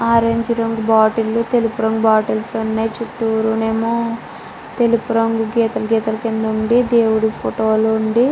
orange రంగు bottle లు తెలుపు రంగు బొట్లే లు ఉన్నాయి చుట్టూ నెమో తెలుపు రంగు కేసులు కేసులు కింది ఉందీ దేవుడు ఫోటో లు ఉందీ --